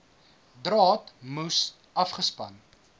draad moes afgespan